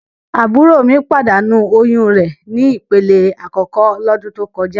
Àbúrò mi pàdánù oyún re ni ìpele àkókò lọ́dún tó kọjá.